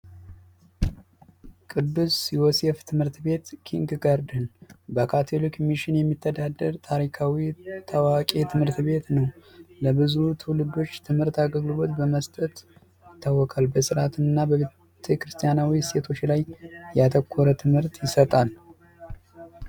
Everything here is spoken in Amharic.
ቅዱስ ዮሴፍ ትምህርት ቤት ኪንግ ጋርደን። በካቶሊክ ሚሽን የሚተዳደር ታዋቂ ትምህርት ቤት ነው። ለብዙ ትዉልዶች ትምህርት አገልግሎት በመስጠት ይታወቃል። በስራት እና በቤተክርስቲያናዊ እሴቶች ላይ ያተኮረ ትምህርት ይሰጣል።